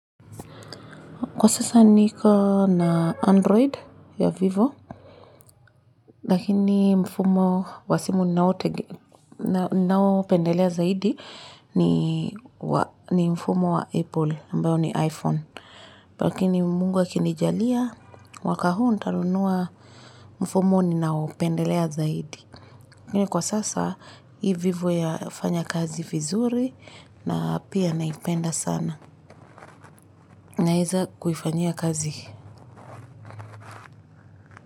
Kwa sasa niko na Android ya vivo, lakini mfumo wa simu naopendelea zaidi ni mfumo wa Apple, ambao ni iPhone. Lakini mungu akinijalia, mwaka huu nitanunua mfumo ninao pendelea zaidi. Kwa sasa, i vivo ya fanya kazi vizuri na pia naipenda sana. Naeza kuifanyia kazi.